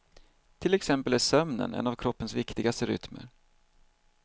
Till exempel är sömnen en av kroppens viktigaste rytmer.